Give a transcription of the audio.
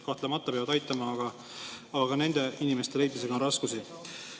Kahtlemata peavad aitama, aga nende inimeste leidmisega on raskusi.